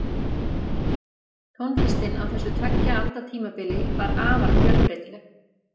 Tónlistin á þessu tveggja alda tímabili var afar fjölbreytileg.